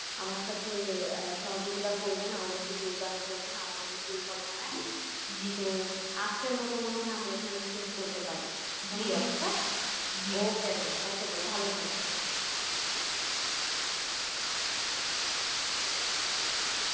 আমার সাথে আহ সহযোগিতা করবেন আমাদেরকে যোগদান করবেন আমাদের এই পরিকল্পনায় তো আজকের মত মনে হয় আমরা এখানেই শেষ করতে পারি okay then okay then ভালো থাকবেন।